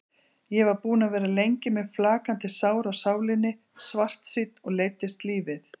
Ég var búinn að vera lengi með flakandi sár á sálinni, svartsýnn og leiddist lífið.